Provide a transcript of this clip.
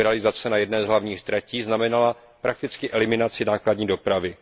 liberalizace na jedné z hlavních tratí znamenala prakticky eliminaci nákladní dopravy.